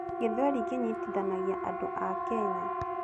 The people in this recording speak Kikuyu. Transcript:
Gĩthweri kĩnyitithanagia andũ a Kenya.